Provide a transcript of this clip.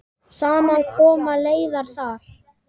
Saman koma leiðir þar.